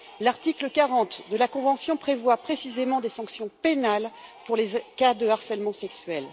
L'article 40 de la convention prévoit précisément des sanctions pénales en cas de harcèlement sexuel.